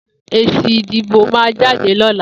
Ési idibó mà jàdé lọ̀là